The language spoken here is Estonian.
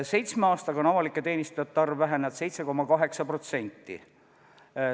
Seitsme aastaga on avalike teenistujate arv vähenenud 7,8%.